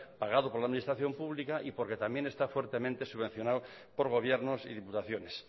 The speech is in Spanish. pagado por la administración pública y porque también fuertemente subvencionado por gobiernos y diputaciones